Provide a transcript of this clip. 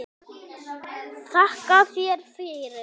Þakka þér fyrir